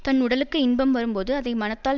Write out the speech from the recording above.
தன் உடலுக்கு இன்பம் வரும்போது அதை மனத்தால்